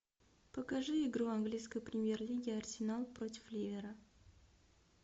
покажи игру английской премьер лиги арсенал против ливера